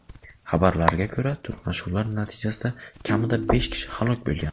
Xabarlarga ko‘ra, to‘qnashuvlar natijasida kamida besh kishi halok bo‘lgan.